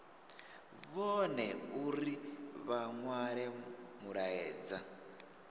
vhone uri vha nwale mulaedza